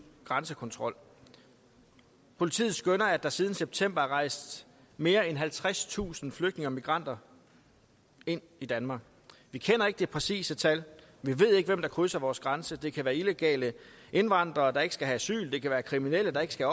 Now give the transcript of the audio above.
grænsekontrol politiet skønner at der siden september er rejst mere end halvtredstusind flygtninge og migranter ind i danmark vi kender ikke det præcise tal vi ved ikke hvem der krydser vores grænse det kan være illegale indvandrere der ikke skal have asyl det kan være kriminelle der ikke skal